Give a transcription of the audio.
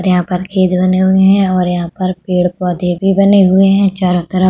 और यहां पर खेत बने हुए हैं और यहां पर पेड़-पौधे भी बने हुए हैं चारों तरफ।